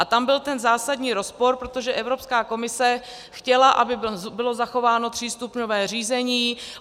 A tam byl ten zásadní rozpor, protože Evropská komise chtěla, aby bylo zachováno třístupňové řízení.